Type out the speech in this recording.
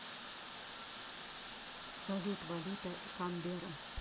салют валюта канберра